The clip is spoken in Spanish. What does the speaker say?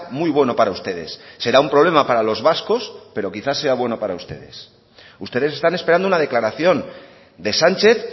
muy bueno para ustedes será un problema para los vascos pero quizás sea bueno para ustedes ustedes están esperando una declaración de sánchez